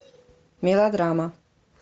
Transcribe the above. мелодрама